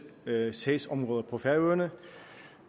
sagsområder på færøerne